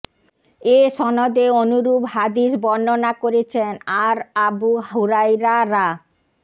এ সনদে অনুরূপ হাদীস বর্ণনা করেছেন আর আবু হুরায়রা রা